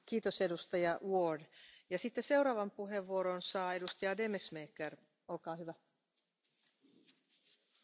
Het leek wel de processie van Echternach, maar na twee jaar tegensputteren krijgt Oekraïne eindelijk een anti corruptiehof.